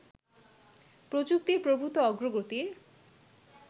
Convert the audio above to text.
প্রযুক্তির প্রভূত অগ্রগতির